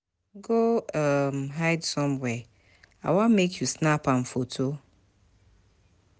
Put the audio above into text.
Go um hide somewhere, I want make you snap am photo